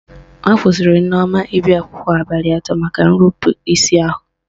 Akwụsịrị Nneoma ịbịa akwụkwọ abalị atọ maka nrupu isi ahụ